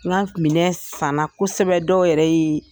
N ka minɛ san na kosɛbɛ dɔw yɛrɛ ye